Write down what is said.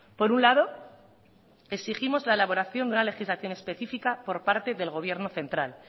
por un lado exigimos la elaboración de una legislación específica por parte del gobierno central